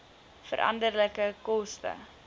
veranderlike koste